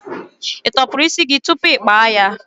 Ị tọsịrị isi gị tupu gị kpa ya?